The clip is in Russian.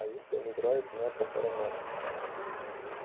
а если он играет на похоронах